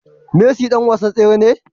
Messi dan wasan tsere ne?